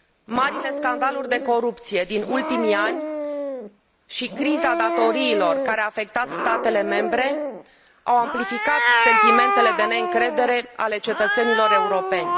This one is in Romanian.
Marile scandaluri de corupție din ultimii ani și criza datoriilor care a afectat statele membre au amplificat sentimentele de neîncredere ale cetățenilor europeni.